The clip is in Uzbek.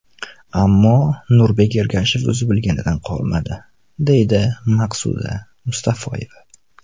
Ammo Nurbek Ergashev o‘zi bilganidan qolmadi”, deydi Maqsuda Mustafoyeva.